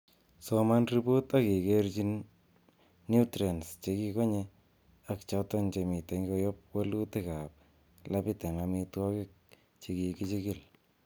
Soman ripot ak ikerchine nutrients chekikonye ak choton chemiten koyob wolutik ab labit en amitwogik che kikichigil.